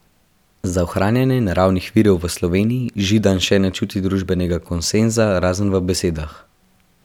Za ohranjanje naravnih virov v Sloveniji Židan še ne čuti družbenega konsenza, razen v besedah.